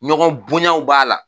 Ɲɔgɔn bonyaw b'a la